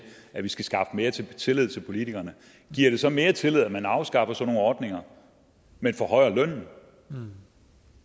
at vi skal skaffe mere tillid tillid til politikerne giver det så mere tillid at man afskaffer sådan nogle ordninger men forhøjer lønnen